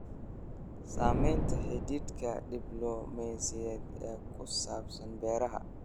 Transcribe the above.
Saamaynta xidhiidhka diblomaasiyadeed ee ku saabsan beeraha.